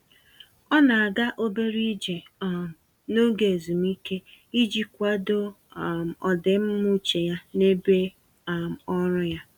Ọ na-aga obere ije um n'oge ezumike iji kwado um ọdịmma uche ya n'ebe um ọrụ ya.